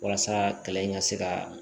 Walasa kalan in ka se ka